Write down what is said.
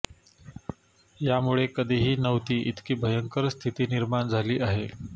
यामुळे कधीही नव्हती इतकी भयंकर स्थिती निर्माण झाली आहे